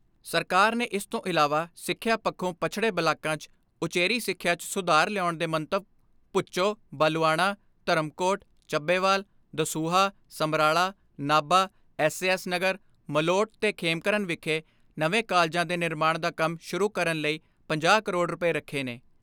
ਸਰਕਾਰ ਨੇ ਇਸ ਤੋਂ ਇਲਾਵਾ ਸਿਖਿਆ ਪੱਖੋ ਪਛੜੇ ਬਲਾਕਾਂ 'ਚ ਉਚੇਰੀ ਸਿਖਿਆ 'ਚ ਸੁਧਾਰ ਲਿਆਉਣ ਦੇ ਮੰਤਵ Bhucho, Balluana, Dharamkot, Chabbewal, Dasuya, Samrala, Nabha, S A S Nagar, Malout ਤੇ ਖੇਮਕਰਨ ਵਿਖੇ ਨਵੇਂ ਕਾਲਿਜਾਂ ਦੇ ਨਿਰਮਾਣ ਦਾ ਕੰਮ ਸ਼ੁਰੂ ਕਰਨ ਲਈ ਪੰਜਾਹ ਕਰੋੜ ਰੁਪਏ ਰੱਖੇ ਨੇ।